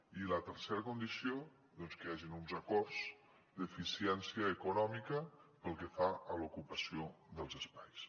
i la tercera condició doncs que hi hagin uns acords d’eficiència econòmica pel que fa a l’ocupació dels espais